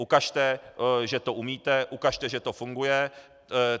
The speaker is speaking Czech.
Ukažte, že to umíte, ukažte, že to funguje.